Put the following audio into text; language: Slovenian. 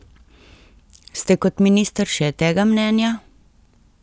Ste kot minister še tega mnenja?